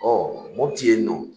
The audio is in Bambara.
Ɔ Mopiti yen nɔ